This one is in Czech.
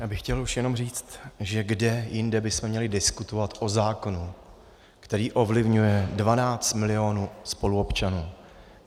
Já bych chtěl už jenom říct, že kde jinde bychom měli diskutovat o zákonu, který ovlivňuje 12 milionů spoluobčanů.